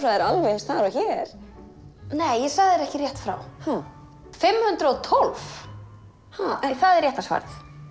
er alveg eins þar og hér nei ég sagði ekki rétt frá fimm hundruð og tólf það er rétta svarið